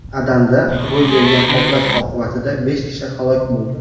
Adanda ro‘y bergan portlash oqibatida besh kishi halok bo‘ldi.